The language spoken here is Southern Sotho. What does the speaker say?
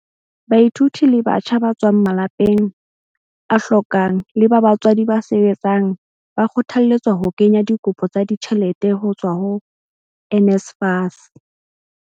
Baithuti le batjha ba tswang malapeng a hlokang le ba batswadi ba sebetsang ba kgothalletswa ho kenya dikopo tsa ditjhelete ho tswa ho NSFAS.